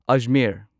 Ajmer